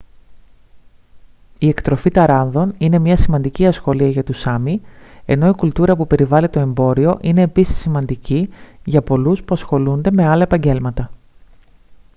η εκτροφή ταράνδων είναι μια σημαντική ασχολία για τους σάμι ενώ η κουλτούρα που περιβάλλει το εμπόριο είναι επίσης σημαντική για πολλούς που ασχολούνται με άλλα επαγγέλματα